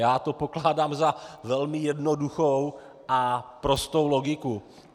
Já to pokládám za velmi jednoduchou a prostou logiku.